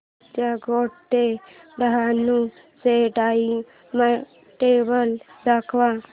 चर्चगेट ते डहाणू चे टाइमटेबल दाखव